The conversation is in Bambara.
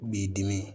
B'i dimi